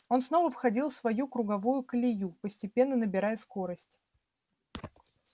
он снова входил в свою круговую колею постепенно набирая скорость